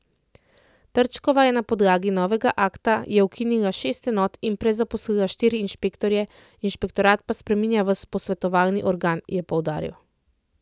Trčkova je na podlagi novega akta je ukinila šest enot in prezaposlila štiri inšpektorje, inšpektorat pa spreminja v posvetovalni organ, je poudaril.